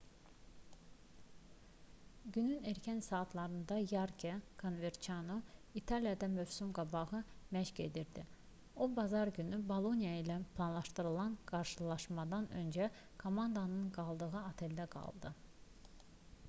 günün erkən saatlarında yarke konverçano i̇taliyada mövsüm-qabağı məşq edirdi. o bazar günü boloniya ilə planlaşdırılan qarşılaşmadan öncə komandanın qaldığı oteldə qaldı